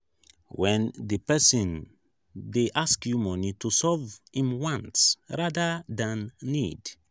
when di person dey ask you money to use solve im wants rather than need